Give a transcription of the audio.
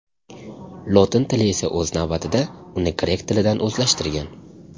Lotin tili esa o‘z navbatida uni grek tilidan o‘zlashtirgan.